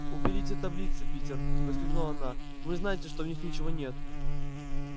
уберите таблицы питер воскликнула она вы знаете что в них ничего нет